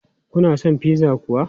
Kuna son pizza kuwa?